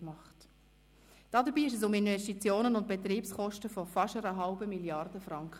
Dabei ging es um Investitionen und Betriebskosten von fast einer halben Milliarde Franken.